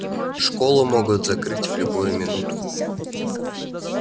школу могут закрыть в любую минуту